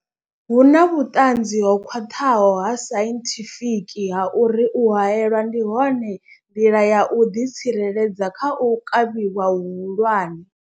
Hu na vhuṱanzi ho khwaṱhaho ha sainthifiki ha uri u haelwa ndi yone nḓila ya u ḓi tsireledza kha u kavhiwa hu hulwane.